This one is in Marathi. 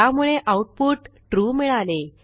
त्यामुळे आऊटपुट ट्रू मिळाले